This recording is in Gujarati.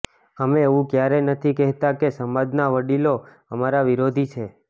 અમે એવું ક્યારેય નથી કહેતા કે સમાજના વડીલો અમારા વિરોધી છે